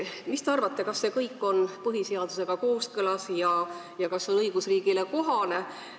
Mis te arvate, kas see on põhiseadusega kooskõlas ja kas see on õigusriigile kohane?